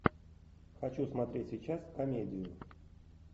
хочу смотреть сейчас комедию